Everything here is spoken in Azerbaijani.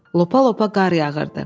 Lopa-lopa qar yağırdı.